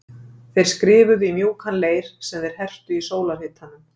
Þeir skrifuðu í mjúkan leir sem þeir hertu í sólarhitanum.